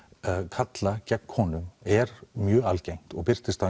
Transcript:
karla gegn konum er mjög algengt og birtist á